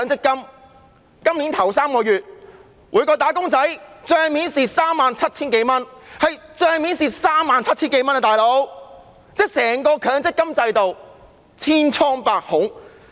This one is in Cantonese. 今年首3個月，每名"打工仔"在帳面上虧蝕 37,000 多元，可見整個強積金制度是千瘡百孔。